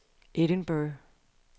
Edinburgh